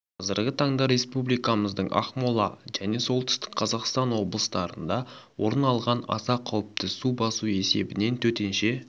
қазіргі таңда республикамыздың ақмола және солтүстік қазақстан облыстарында орын алған аса қауіпті су басу себебінен төтенше